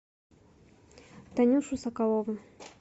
танюшу соколову